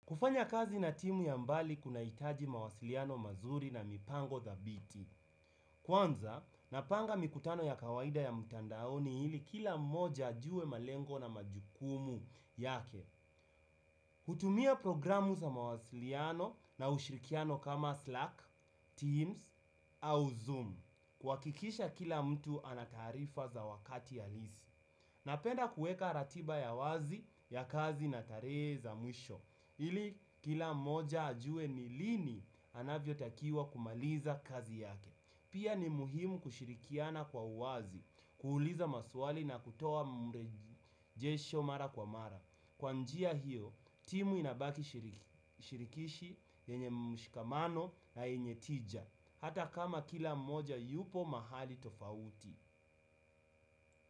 Kufanya kazi na timu ya mbali kuna hitaji mawasiliano mazuri na mipango za dhabiti. Kwanza, napanga mikutano ya kawaida ya mtandaoni ili kila mmoja ajuwe malengo na majukumu yake. Hutumia programu za mawasiliano na ushirikiano kama Slack, Teams au Zoom. Kuhakikisha kila mtu ana taarifa za wakati halisi. Napenda kuweka ratiba ya wazi ya kazi na dalili za mwisho. Ili kila moja ajue nilini anavyo takiwa kumaliza kazi yake. Pia ni muhimu kushirikiana kwa uwazi, kuuliza maswali na kutoa mrejisho mara kwa mara. Kwanjia hiyo, timu inabaki shirikishi yenye mshikamano na yenye tija hata kama kila mmoja yupo mahali tofauti.